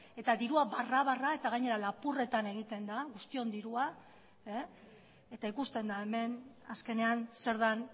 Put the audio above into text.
eta dirua barra barra eta gainera lapurretan egiten da guztion dirua eta ikusten da hemen azkenean zer den